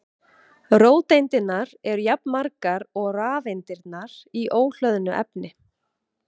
Róteindirnar eru jafnmargar og rafeindirnar í óhlöðnu efni.